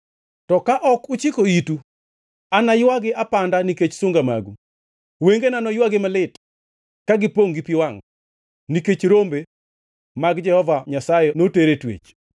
To ka ok uchiko itu, anaywagi apanda nikech sunga magu; wengena noywagi malit, ka gipongʼ gi pi wangʼ, nikech rombe mag Jehova Nyasaye noter e twech.